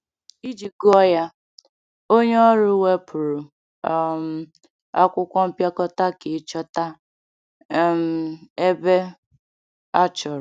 Iji gụọ ya, onye ọrụ wepụrụ um akwụkwọ mpịakọta ka ịchọta um ebe achọrọ.